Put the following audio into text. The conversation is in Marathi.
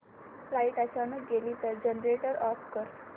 लाइट अचानक गेली तर जनरेटर ऑफ कर